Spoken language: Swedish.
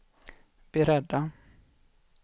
beredda